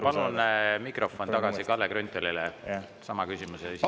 Palun mikrofon tagasi Kalle Grünthalile sama küsimuse esitamiseks.